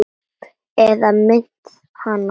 Eða minnti hana það?